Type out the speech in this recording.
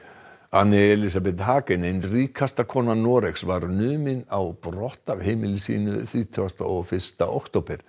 Hagen ein ríkasta kona Noregs var numin á brott af heimili sínu þrítugasta og fyrsta október